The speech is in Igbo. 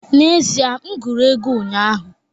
N'ezie, m gụrụ ego ụnyaahụ